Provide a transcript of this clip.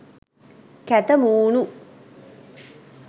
කැත මූණු..